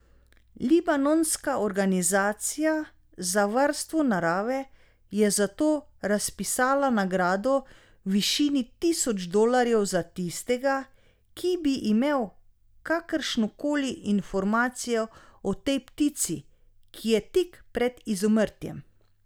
Libanonska organizacija za Varstvo narave je zato razpisala nagrado v višini tisoč dolarjev za tistega, ki bi imel kakršno koli informacijo o tej ptici, ki je tik pred izumrtjem.